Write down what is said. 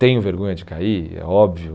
Tenho vergonha de cair, é óbvio.